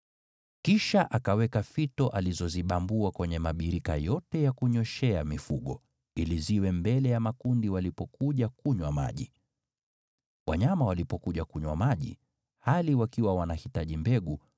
Kisha akaweka fito alizozibambua kwenye mabirika yote ya kunyweshea mifugo, ili ziwe mbele ya makundi walipokuja kunywa maji. Wanyama walipokuja kunywa maji, hali wakiwa wanahitaji mbegu,